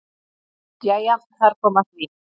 Jæja þar kom að því.